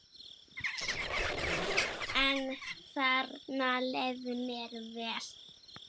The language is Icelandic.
En þarna leið mér vel.